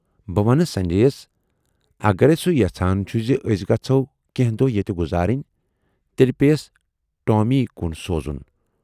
بہٕ ونہٕ سنجے یَس اَگرے سُہ یَژھان چھُ زِ ٲسۍ گَژھو کینہہ دۅہ ییتہِ گُذارٕنۍ، تیلہِ پے یَس ٹامی کُن سوزُن۔